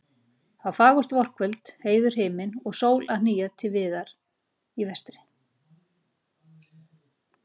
Það var fagurt vorkvöld, heiður himinn og sól að hníga til viðar í vestri.